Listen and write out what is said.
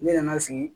Ne nana sigi